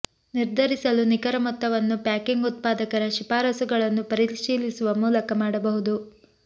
ನಿರ್ಧರಿಸಲು ನಿಖರ ಮೊತ್ತವನ್ನು ಪ್ಯಾಕಿಂಗ್ ಉತ್ಪಾದಕರ ಶಿಫಾರಸುಗಳನ್ನು ಪರಿಶೀಲಿಸುವ ಮೂಲಕ ಮಾಡಬಹುದು